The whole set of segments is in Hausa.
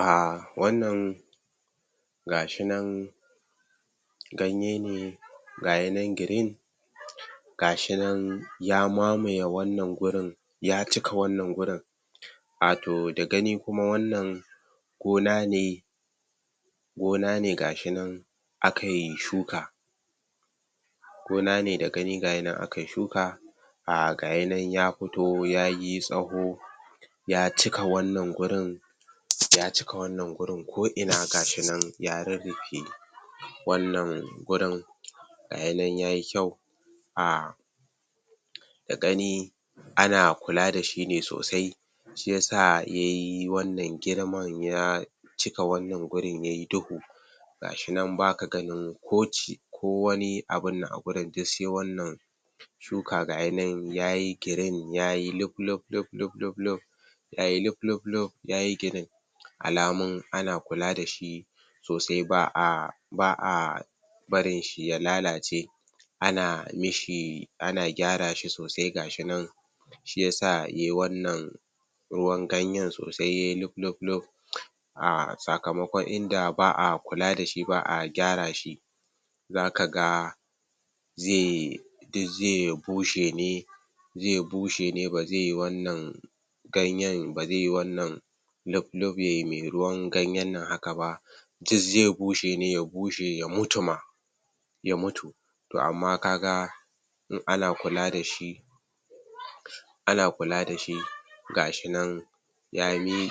um wannan gashinan ganye ne gayinan girin gashi nan ya mamaye wannan wurin ya cika wannan wurin. Atoh da gani kuma wannan gona Gona ne da gani gashianna akai shuka um gayi nan ya fito yayi tsaho ya cika wannan wurin um ko ina gashinan ya rurrufe. Wannan wurin gayinan yayi kyau um da gani ana kula dashi ne sosai shi yasa yayi wannan girman ya cika wannan wurin yayi duhu. Gashi nan baka ganin ko wani abunnan a wurin, duk sai wannan tuka gayinan yayi girin ya yi luplupluplupluplup yayi lupluplup, yayi girin alamun ana kula dashi sosai ba a barin shi ya lalace ana mishi ana gyara shi sosai gashi nan, shi yasa yayi wannan ruwan ganyen sosai yai lupluplup um sakamakon idan ba a kula dashi ba a gyara shi zaka ga zai duk zai bushe ne ba zai wannan ganyen ba zai wannan luplup yayi mai ruwan ganyen nan haka ba duk zai bushe ne ya bushe ya mutu ma. To amma kaga in ana kula dashi gashi nan um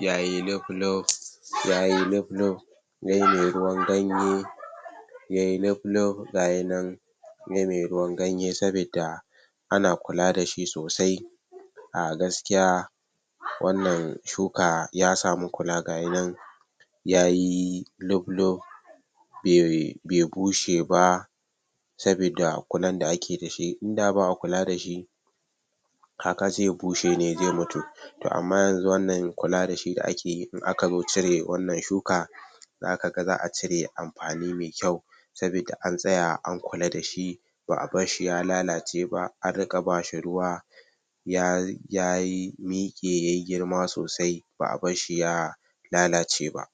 yayi luplup um yai mai ruwan ganye yai luplup gayi nan mai ruwan ganye sabidda ana kula dashi sosai a gaskiya wannan shuka ya samu kula gayinan yayi luplup bai um bushe ba sabidda kulan da ake dashi, in da ba'a kula dashi kaka zai bushe ne zai mutu. To amma yanzuwannan kula dashi da akeyi in akazo cire wannan shuka, zaka ga za a cire amfani mai kyau sabidda an tsaya an kula dashi ba a barshi ya lalace ba, an riƙa bashi ruwa yayi miƙe yai girma sosai ba a barshi ya lalace ba.